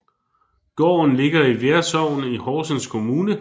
Gården ligger i Vær Sogn i Horsens Kommune